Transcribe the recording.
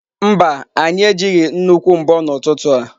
Mba, anyị ejighị nnukwu mbo n'ụtụtụ a.